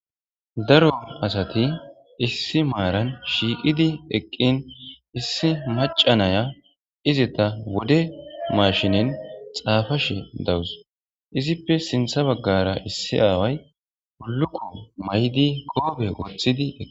daro asati issi maaran shiiqidi eqqin issi maca naya izita wode mashinen xaafashe dawus izippe sintha baggara issi aaway ulukko may7di koobe woththidi eqi